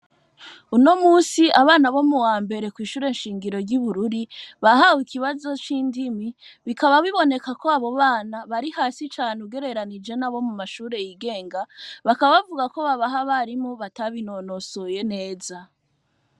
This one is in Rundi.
Uno musi, abana bo mu wambere kw'ishure shingiro ry'i Bururi, bahawe ikibazo c'indimi, bikaba biboneka ko abo bana bari hasi cane ugereranije n'abo mu mashure y'igenga, bakaba bavuga ko babaha abarimu batabinonosoye neza.